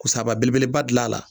Kusaba sa belebeleba gil'a la.